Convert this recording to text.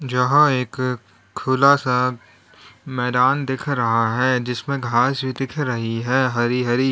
जहां एक खुला सा मैदान दिख रहा है जिसमें घास भी दिख रही है हरी हरी--